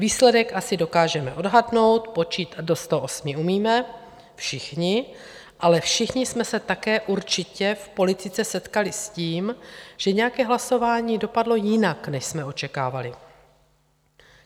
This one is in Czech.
Výsledek asi dokážeme odhadnout, počítat do 108 umíme všichni, ale všichni jsme se také určitě v politice setkali s tím, že nějaké hlasování dopadlo jinak, než jsme očekávali.